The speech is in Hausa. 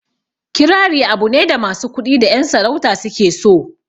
Kirari abu ne da masu kuɗi da ƴan sarauta su ke so